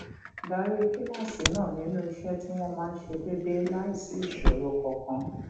darí kíláàsì náà nínú iṣé tí wón máa ń ṣe déédéé láìsí ìṣòro kankan